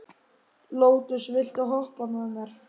Lótus, viltu hoppa með mér?